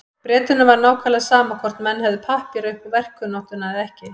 Bretunum var nákvæmlega sama hvort menn hefðu pappíra upp á verkkunnáttuna eða ekki.